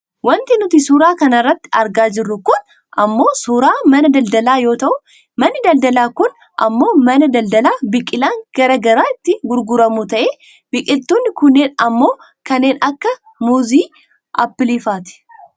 Wanti nuti suuraa kanarratti argaa jirru kun ammoo suuraa mana daldalaa yoo ta'u manni daldalaa kun ammoo mana daldaalaa biqilaan gara garaa itti gurguramu ta'ee biqiltuun kunneen ammoo kanneen akka muuzii, aappiliifaati.